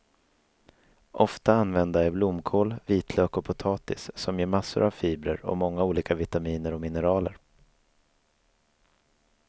Ofta använda är blomkål, vitlök och potatis som ger massor av fibrer och många olika vitaminer och mineraler.